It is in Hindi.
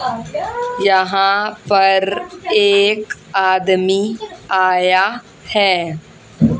यहां पर एक आदमी आया है।